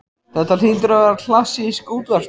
Þetta hlýtur að vera klassísk útvarpsstöð.